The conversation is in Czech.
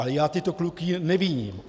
Ale já tyto kluky neviním.